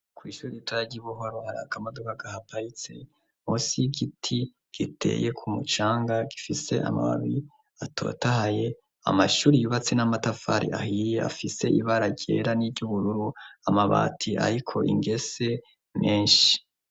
Kw'ishuri gitara ry'i buhoro hari akamaduka gahapayitse hosi iy'igiti giteye ku mucanga gifise amababi atotahaye amashuri yubatse n'amatafari ahiye afise ibara ryera n'iryoubururu amabati, ariko ingese menshi.